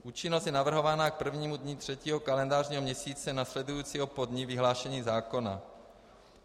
Účinnost je navrhována k prvnímu dni třetího kalendářního měsíce následujícího po dni vyhlášení zákona.